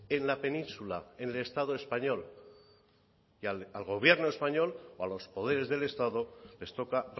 en la península en el estado español y al gobierno español o a los poderes del estado les toca